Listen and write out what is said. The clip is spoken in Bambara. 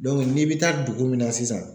n'i bɛ taa dugu min na sisan